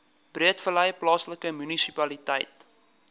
breedevallei plaaslike munisipaliteit